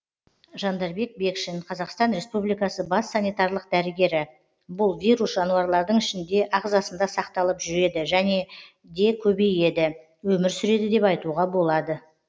жандарбек бекшин қазақстан республикасы бас санитарлық дәрігері бұл вирус жануарлардың ішінде ағзасында сақталып жүреді және де көбейеді өмір сүреді деп айтуға болады